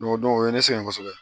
o ye ne sɛgɛn kosɛbɛ